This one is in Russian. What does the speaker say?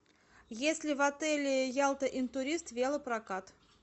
есть ли в отеле ялта интурист велопрокат